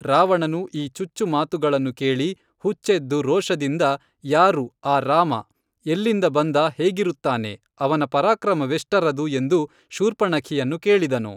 ರಾವಣನು ಈ ಚುಚ್ಚು ಮಾತುಗಳನ್ನು ಕೇಳಿ ಹುಚ್ಚೆದ್ದು ರೋಷದಿಂದ ಯಾರು, ಆ ರಾಮ ಎಲ್ಲಿಂದ ಬಂದ ಹೇಗಿರುತ್ತಾನೆ ಅವನ ಪರಾಕ್ರಮವೆಷ್ಟರದು ಎಂದು ಶೂರ್ಪಣಖಿಯನ್ನು ಕೇಳಿದನು